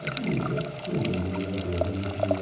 Mas ele ele foi um bom governador, na minha opinião.